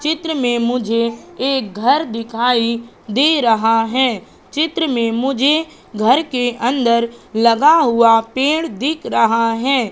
चित्र में मुझे एक घर दिखाई दे रहा है चित्र में मुझे घर के अंदर लगा हुआ पेड़ दिख रहा है।